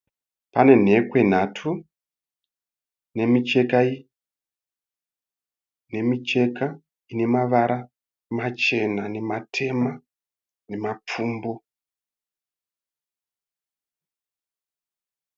Pane nhekwe nhatu nemicheka ine mavara machena, nematema nemapfumbu.